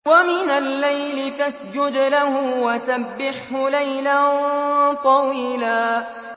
وَمِنَ اللَّيْلِ فَاسْجُدْ لَهُ وَسَبِّحْهُ لَيْلًا طَوِيلًا